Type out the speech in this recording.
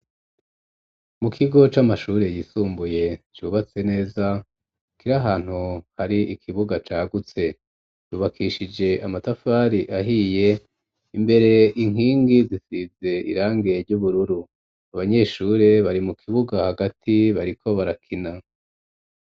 Mu kigo c'amashure yisumbuye cubatse neza kiri ahantu hari ikibuga cagutse ryubakishije amatafari ahiye imbere inkingi zisize irangi ry'ubururu abanyeshure bari mu kibuga hagati bariko barakina.